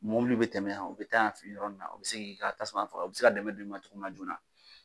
Mobili be tɛmɛ yan o be taa yan fɛ yɔrɔ in na o be se k'i ka tasuma faga o be se ka dɛmɛ dɔ i ma cogo min na joona